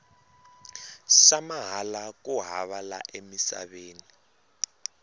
xa mahala ku hava la emisaveni